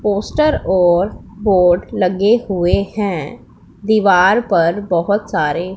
poster और board लगे हुए हैं दीवार पर बहोत सारे--